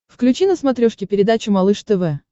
включи на смотрешке передачу малыш тв